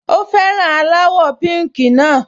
Ó fẹ́ràn aláwọ̀ píùnkì náà